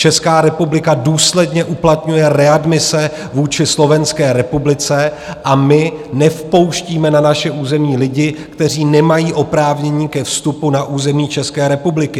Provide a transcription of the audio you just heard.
Česká republika důsledně uplatňuje readmise vůči Slovenské republice a my nevpouštíme na naše území lidi, kteří nemají oprávnění ke vstupu na území České republiky.